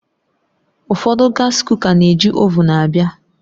Ụfọdụ gas kuka na-eji ovuun abịa